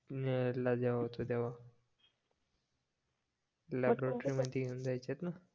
जेव्हा होतो तेव्हा द्यायचेत ना